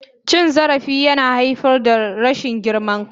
Cin zarafi yana haifar da rashin girman kai.